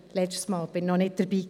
Da war ich noch nicht dabei.